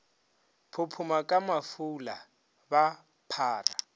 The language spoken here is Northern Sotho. phophoma ka mafula ba phara